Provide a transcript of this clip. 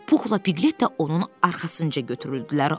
Puxla Piqlet də onun arxasınca götürüldülər.